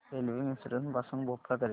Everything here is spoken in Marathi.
रेल्वे मिसरोद पासून भोपाळ करीता